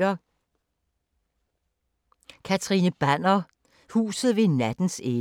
Catherine Banner: Huset ved nattens ende